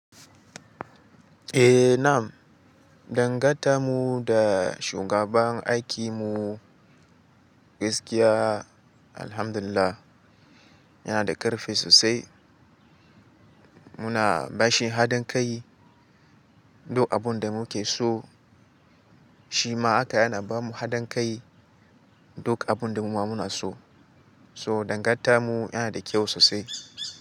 Eh nam, dangantamu da shugaban aikimu gaskiya alhamdulillah yana da ƙarfi sosai. Muna bashi haɗin kai duk abun da muke so shima haka yana ba mu haɗin kai duk abun da mu muna so. So dangantamu yana da kyau sosai.